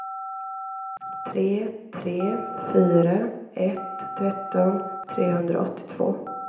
tre tre fyra ett tretton trehundraåttiotvå